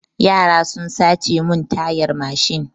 Yara sun sace mun tayar mashin.